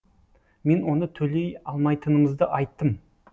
мен оны төлей алмайтынымызды айттым